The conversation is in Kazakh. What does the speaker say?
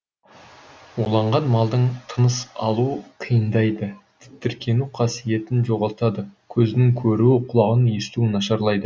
уланған малдың тыныс алуы қиындайды тітіркену қасиетін жоғалтады көзінің көруі құлағының естуі нашарлайды